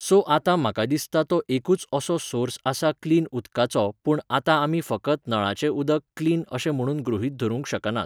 so आतां म्हाका दिसता तो एकूच असो सोर्स आसा क्लिन उदकाचो पूण आतां आमी फकत नळाचें उदक क्लिन अशें म्हणून गृहित धरूंक शकनात